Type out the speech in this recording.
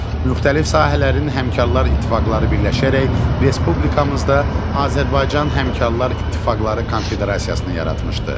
Müxtəlif sahələrin həmkarlar ittifaqları birləşərək respublikamızda Azərbaycan həmkarlar ittifaqları konfederasiyasını yaratmışdır.